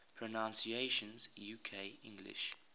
pronunciations uk english